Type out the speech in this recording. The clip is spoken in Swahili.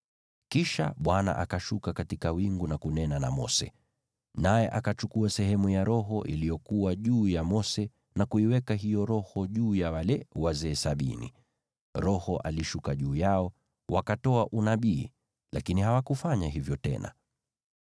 Kisha Bwana akashuka katika wingu na kunena na Mose, naye akachukua sehemu ya Roho iliyokuwa juu ya Mose na kuiweka juu ya wale wazee sabini. Roho aliposhuka juu yao, wakatoa unabii, lakini hawakufanya hivyo tena.